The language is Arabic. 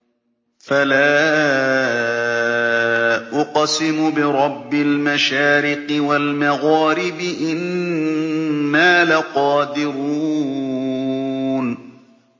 فَلَا أُقْسِمُ بِرَبِّ الْمَشَارِقِ وَالْمَغَارِبِ إِنَّا لَقَادِرُونَ